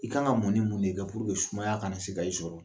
I k'an ka munin mun de kɛ [cs ]sumaya kana se ka i sɔrɔ